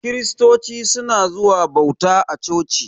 Kiristoci suna zuwa bauta a coci.